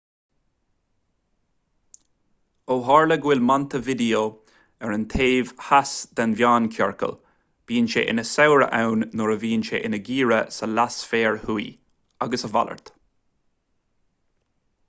ó tharla go bhfuil montevideo ar an taobh theas den meánchiorcal bíonn sé ina shamhradh ann nuair a bhíonn sé ina gheimhreadh sa leathsféar thuaidh agus a mhalairt